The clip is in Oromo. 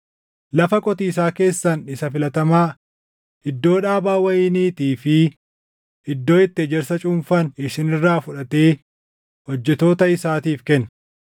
Lafa qotiisaa keessan isa filatamaa, iddoo dhaabaa wayiniitii fi iddoo itti ejersa cuunfan isin irraa fudhatee hojjettoota isaatiif kenna.